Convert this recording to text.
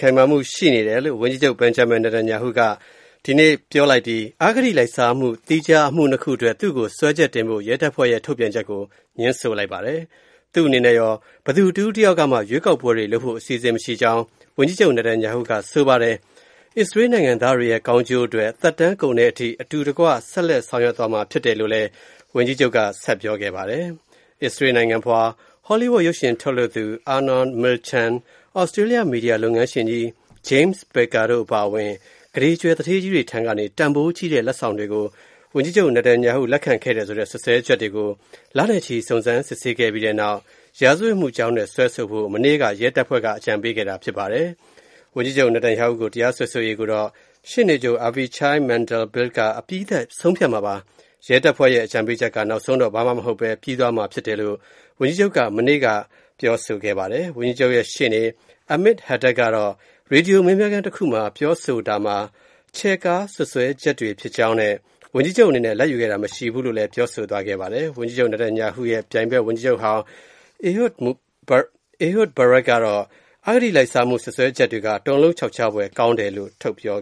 ခိုင်မာမှု ရှိတယ်လို့ ဝန်ကြီးချုပ် Benjamin Netanyahu က ဒီကနေ့ ဗုဒ္ဓဟူးနေ့မှာ ပြောဆိုလိုက်ပြီး အဂတိလိုက်စားမှု သီးခြား အမှုနှစ်ခု အတွက် သူ့ကို စွဲချက်တင်ဖို့ ရဲတပ်ဖွဲ့ရဲ့ ထုတ်ပြန်ချက်ကို ငြင်းဆိုလိုက်ပါတယ်။ သူ့အနေနဲ့ရော ဘယ်သူ တဦးတယောက်ကမှ ရွေးကောက်ပွဲတွေ လုပ်ဖို့ အစီအစဉ်မရှိကြောင်း ဝန်ကြီးချုပ် Netanyahu က ပြောဆိုပါတယ်။ အစ္စရေး နိုင်ငံသားတွေရဲ့ ကောင်းကျိုး အတွက် သက်တမ်းကုန်တဲ့ အထိ အတူတကွ ဆက်လက် ဆောင်ရွက်သွားမှာ ဖြစ်တယ်လို့လည်း ဝန်ကြီးချုပ်က ပြောဆိုပါတယ်။ အစ္စရေး နိုင်ငံဖွား ဟောလီးဝုဒ် ရုပ်ရှင် ထုတ်လုပ်သူ Arnon Milchan၊ သြစတေးလျ မီဒီယာ လုပ်ငန်းရှင်ကြီး James Packer တို့ အပါအဝင် ကုဋေကြွယ် သူဌေးကြီးတွေထံကနေ တန်ဖိုးကြီးတဲ့ လက်ဆောင်တွေကို ဝန်ကြီးချုပ် Netanyahu လက်ခံခဲ့တယ်ဆိုတဲ့ စွပ်စွဲချက်တွေကို လနဲ့ချီ စုံစမ်းစစ်ဆေးခဲ့ပြီးနောက် ရာဇဝတ်မှုကြောင်းနဲ့ စွဲဆိုဖို့ မနေ့ အင်္ဂါနေ့မှာ ရဲတပ်ဖွဲ့က အကြံပေးခဲ့တာ ဖြစ်ပါတယ်။ ဝန်ကြီးချုပ် Netanyahu ကို တရားစွဲဆိုရေးကိုတော့ ရှေ့နေချုပ် Avichai Mandelblit က အပြီးသတ် ဆုံးဖြတ်မှာပါ။ ရဲတပ်ဖွဲ့ရဲ့ အကြံပေးချက်က နောက်ဆုံးတော့ ဘာမှ မဟုတ်ဘဲ ပြီးသွားမှာ ဖြစ်တယ်လို့ ဝန်ကြီးချုပ်က မနေ့ အင်္ဂါနေ့မှာ ပြောဆိုပါတယ်။ ဝန်ကြီးချုပ်ရဲ့ ရှေ့နေ Amit Hadad ကတော့ ရေဒီယို မေးမြန်းခန်းတခုမှာ ပြောဆိုတာမှာတော့ ချဲ့ကား စွပ်စွဲချက်တွေ ဖြစ်ကြောင်းနဲ့ ဝန်ကြီးချုပ် အနေနဲ့ လာဘ်ယူခဲ့တာ မရှိဘူးလို့လည်း ပြောဆိုသွားပါတယ်။ ဝန်ကြီးချုပ် Netanyahu ရဲ့ ပြိုင်ဘက် ဝန်ကြီးချုပ်ဟောင်း Ehud Barak ကတော့ အဂတိလိုက်စားမှု စွပ်စွဲချက်တွေက တုန်လှုပ်ခြောက်ခြားဖွယ် ကောင်းတယ်လို့ ပြော